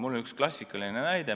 Mul on üks klassikaline näide.